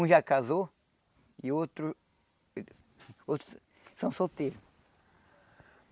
Um já casou e outro outros são solteiros.